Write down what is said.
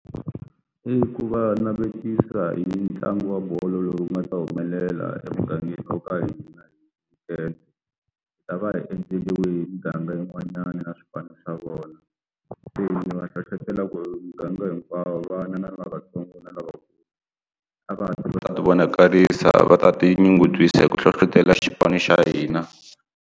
I ku va navetisa hi ntlangu wa bolo loyi ku nga ta humelela emugangeni wa ka hina hi ta va hi endleriwe muganga yin'wanyana na swipano swa vona va hlohlotela ku miganga hinkwawo vana lavatsongo na lavakulu a va a ti vonakarisa va ta tinyungubyisa hi ku hlohlotela xipano xa hina.